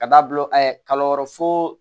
Ka da bila kalo wɔɔrɔ so